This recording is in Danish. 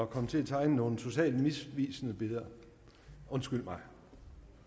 komme til at tegne nogle totalt misvisende billeder undskyld mig